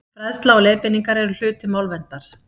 fræðsla og leiðbeiningar eru hluti málverndar